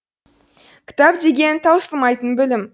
кітап деген таусылмайтын білім